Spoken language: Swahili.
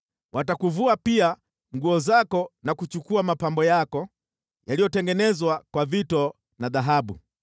Watakuvua pia nguo zako na kuchukua mapambo yako yaliyotengenezwa kwa vito na dhahabu.